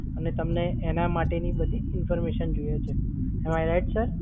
અને તમને એના માટેની બધી information જોઈએ છે. Am I right, sir?